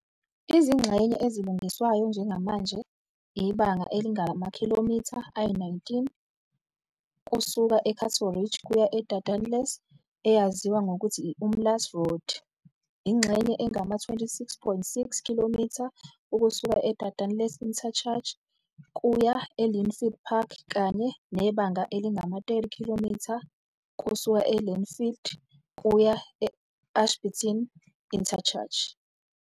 Izingxenye ezilungiswayo njengamanje ibanga elingamakhilomitha ayi-19 kusuka e-Cato Ridge kuya e-Dardanelles, eyaziwa ngokuthi i-Umlaas Road, ingxenye engama-26.6 km ukusuka e-Dardanelles Interchange kuya e-Lynnfield Park, kanye nebanga elingama-30 km kusuka e-Lynnfield Park kuya e-Ashburton Interchange.